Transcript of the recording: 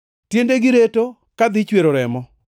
“Tiendegi reto kadhi chwero remo;